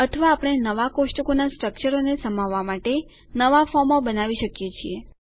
અથવા આપણે નવા કોષ્ટકોનાં સ્ટ્રકચરોને સમાવવા માટે નવા ફોર્મો બનાવી શકીએ છીએ